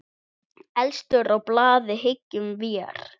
Efstur á blaði, hyggjum vér.